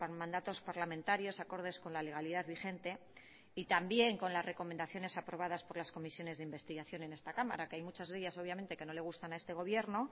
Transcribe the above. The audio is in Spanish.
mandatos parlamentarios acordes con la legalidad vigente y también con las recomendaciones aprobadas por las comisiones de investigación en esta cámara que hay muchas de ellas obviamente que no le gustan a este gobierno